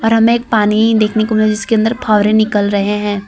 और हमें एक पानी देखने को मतलब जिसके अंदर फव्वारे निकल रहे हैं।